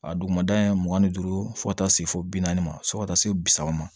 A duguma mugan ni duuru fo ka taa se fɔ bi naani ma fo ka taa se bi saba ma